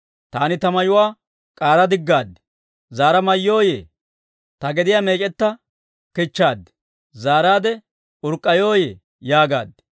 Taani, Ta mayuwaa k'aara diggaad; zaara mayyooyye? Ta gediyaa meec'etta kichchaad; zaaraadde urk'k'ayooyye? yaagaad.